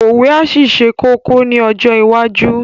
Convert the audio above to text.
Òwe á ṣì ṣe kókó ní ọjọ́ iwájú